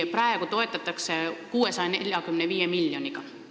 Praegu toetatakse tegevusi 645 miljoniga.